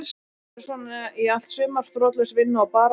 Þetta verður svona í allt sumar þrotlaus vinna og barátta.